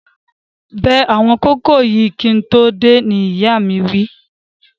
Bẹ àwọn kókò yìí kí n tó dé, ni ìyáa mi wí